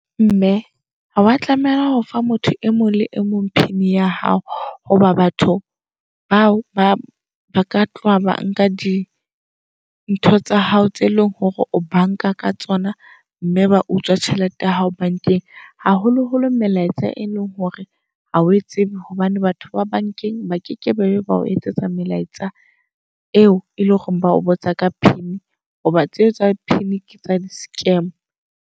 Mme ha wa tlameha hofa motho e mong le e mong PINya hao. Hoba batho bao ba baka tloha ba nka dintho tsa hao tse eleng hore o banka ka tsona. Mme ba utswa tjhelete ya hao bank-eng. Haholoholo melaetsa e leng hore hao e tsebe. Hobane batho ba bankeng ba ke ke be ba o etsetsa melaetsa eo eleng hore ba o botsa ka PIN. Hoba tseo tsa PIN ke tsa di-scam.